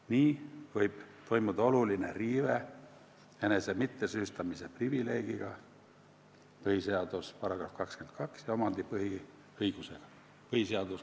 Nii võib toimuda oluline riive enese mittesüüstamise privileegiga ja omandi põhiõigusega .